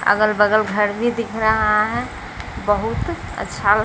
अगल-बगल घर भी दिख रहा है बहुत अच्छा--